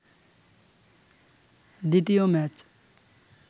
দ্বিতীয় ম্যাচ